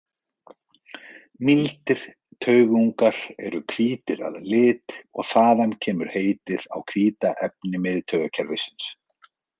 Mýldir taugungar eru hvítir að lit og þaðan kemur heitið á hvíta efni miðtaugakerfisins.